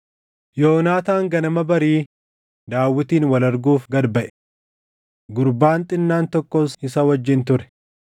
Yoonaataan ganama barii Daawitin wal arguuf gad baʼe. Gurbaan xinnaan tokkos isa wajjin ture.